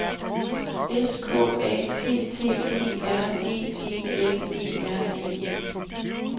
S K A T T E R E G L E R N E